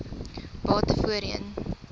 bate voorheen